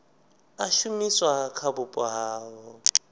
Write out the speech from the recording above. a shumiswa kha vhupo havho